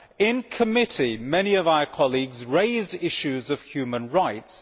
In committee, many of our colleagues raised issues of human rights.